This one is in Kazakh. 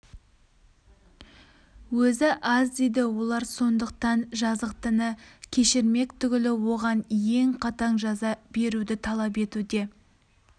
өзі аз дейді олар сондықтан жазықтыны кешірмек түгілі оған ең қатаң жаза беруді талап етуде